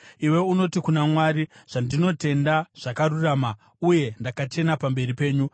Iwe unoti kuna Mwari, ‘Zvandinotenda zvakarurama uye ndakachena pamberi penyu.’